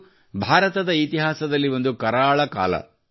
ಇದು ಭಾರತದ ಇತಿಹಾಸದಲ್ಲಿ ಒಂದು ಕರಾಳ ಕಾಲ